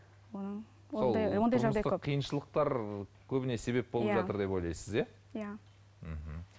тұрмыстық қиыншылықтар көбіне себеп болып иә жатыр деп ойлайсыз иә мхм